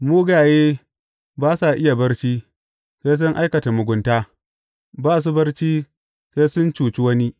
Mugaye ba sa iya barci, sai sun aikata mugunta; ba su barci sai sun cuci wani.